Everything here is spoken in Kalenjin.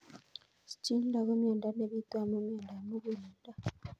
Schindler ko miondo nepitu amu miondop muguleldo